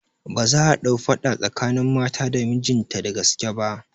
Ba za'a ɗau faɗa tsakanin mata da mijinta da gaske ba